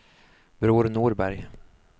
Bror Norberg